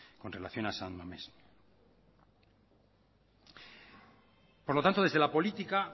con relación a san mamés por lo tanto desde la política